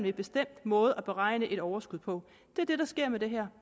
en bestemt måde at beregne et overskud på det er det der sker med det her